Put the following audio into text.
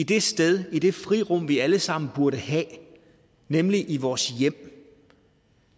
det sted det frirum vi alle sammen burde have nemlig vores hjem